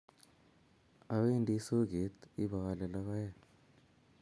Awendi soget ipaale logoek